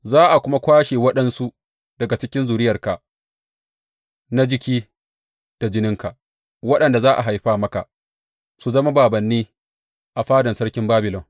Za a kuma kwashe waɗansu daga cikin zuriyarka, na jiki da jininka waɗanda za a haifa maka, su zama bābānni a fadan sarkin Babilon.